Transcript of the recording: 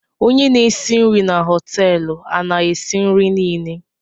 Onye n'esi nrii na hotéélu a na esi nri Nile?